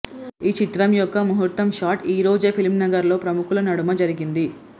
ఈ చిత్రం యొక్క ముహూర్తం షాట్ ఈరోజే ఫిల్మ్ నగర్ లో ప్రముఖుల నడుమ జరిగింది